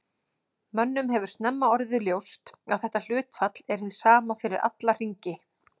Mönnum hefur snemma orðið ljóst að þetta hlutfall er hið sama fyrir alla hringi.